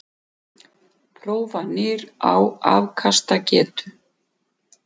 Prófanir á afkastagetu